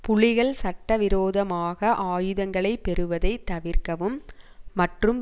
புலிகள் சட்ட விரோதமாக ஆயுதங்களை பெறுவதை தவிர்க்கவும் மற்றும்